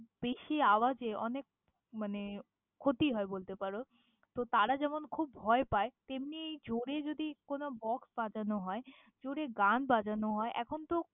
বেশি আওয়াজে অনেক মানে ক্ষতি হয় বলতে পারো। তো তারা যেমন খুব ভয় পায়, তেমনি জোরে যদি কোনো box বাজানো হয়, জোরে গান বাজানো হয়, এখন তো।